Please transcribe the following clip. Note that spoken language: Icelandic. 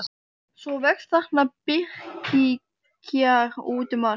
Svo vex þarna birkikjarr út um allt.